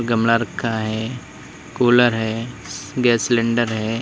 गमला रखा है कूलर है गैस सिलेंडर है।